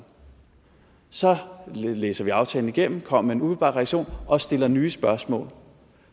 så læser vi aftalen igennem kommer med en umiddelbar reaktion og stiller nye spørgsmål